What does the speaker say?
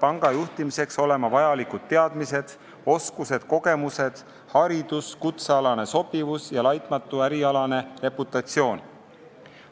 panga juhtimiseks peavad isikul olema vajalikud teadmised, oskused, kogemused, haridus, kutsealane sobivus ja laitmatu ärialane reputatsioon.